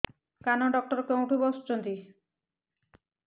କାନ ଡକ୍ଟର କୋଉଠି ବସୁଛନ୍ତି